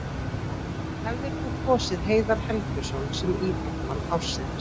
Hefðir þú kosið Heiðar Helguson sem íþróttamann ársins?